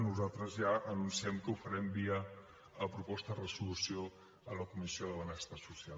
nosaltres ja anunciem que ho farem via proposta de resolució a la comissió de benestar social